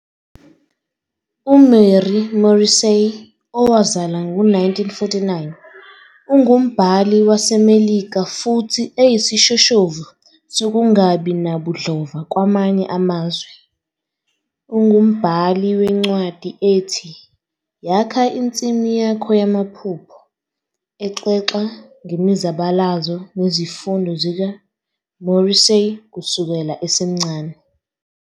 UMary Morrissey, owazalwa ngo-1949, ungumbhali waseMelika futhi eyisishoshovu sokungabi nabudlova kwamanye amazwe. Ungumbhali wencwadi ethi "Yakha Insimu Yakho Yamaphupho," exoxa ngemizabalazo nezifundo zikaMorrissey kusukela esemncane.